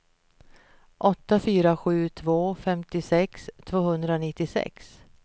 åtta fyra sju två femtiosex tvåhundranittiosex